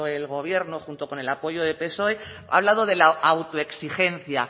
el gobierno junto con el apoyo de psoe ha hablado de la autoexigencia